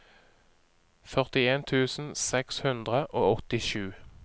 førtien tusen seks hundre og åttisju